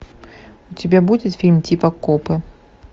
у тебя будет фильм типа копы